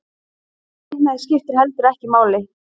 Kynhneigð skiptir heldur ekki máli